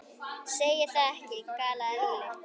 Segir það ekki? galaði Lúlli.